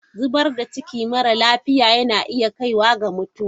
Zubar da ciki mara lafiya yana iya kaiwa ga mutuwa.